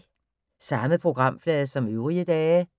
Samme programflade som øvrige dage